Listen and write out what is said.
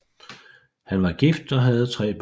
Han var gift og havde tre børn